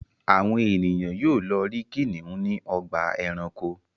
Àwọn ènìyàn yóò lọ rí kìnnìún ní ọgbà-ẹranko.